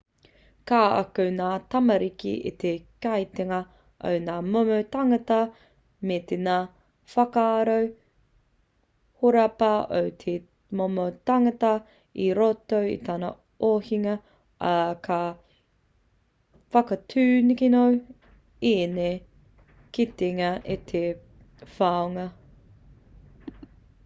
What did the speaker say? ka ako ngā tamariki i te kitenga o ngā momo tāngata me ngā whakaaro horapa o te momo tangata i roto i tana ohinga ā ka whakatūkino ēnei kitenga i te whanonga